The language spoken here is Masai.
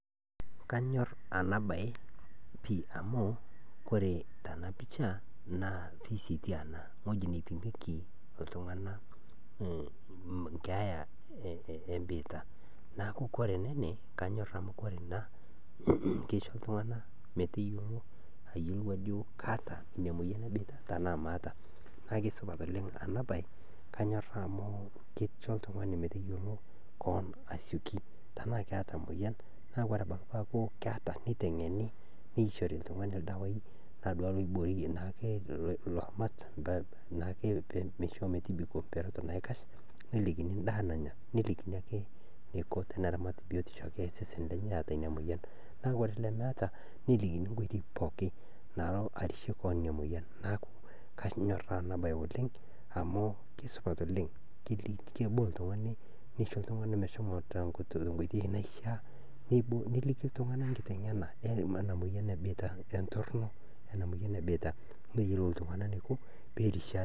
Kanyorr anabaye piii amuu kore tanapisha naa kesetii ana, ngoji naipimieki iltungana nkeeya embiitia. Naaku kore ne ene Kanyorr amu kore ena keisho iltungana meteyiolo ayiolou ajo kaata ina imoyian ebiita tanaa maata . Naa kesupat oleng enabaye, Kanyorr nanu amu keicho iltungani meteyiolo keon asioki tanaa keeta moyian. Naa kore abaki tenaaku keeta neitengeni, neishori iltungani ildawai naa duake loiboorie naake iloomat naake meisho metibiko mperot naikash, nelikini indaa nanya ,nelikini ake neiko teneramat biotisho ake osesen lenye eata ina moyian. Naa kore lemeeta nelikini nkoitoi pookin naalo arishie keon inia moyian, naaku Kanyorr nanu anabaye oleng amu kesupat oleng, kebol iltungani, neisho iltungani meshomo te nkoitoi naishaa ,nelikini ltungana nkitengena ena moyian embiitia, entorino ena moyian ebiitia, peeyiolou iltungana neiko peerishe ate.